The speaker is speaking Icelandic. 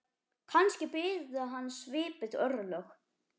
Kannski biðu hans svipuð örlög.